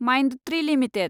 Mindtree limited